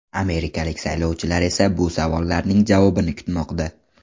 Amerikalik saylovchilar esa bu savollarning javobini kutmoqda.